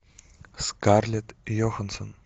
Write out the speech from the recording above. скарлетт йоханссон